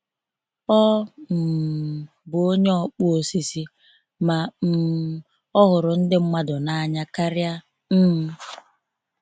Ọ um bụ onye ọkpụ osisi, ma um ọ ghụrụ ndị mmadụ na anya karịa. um